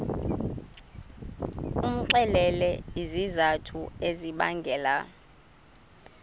umxelele izizathu ezibangela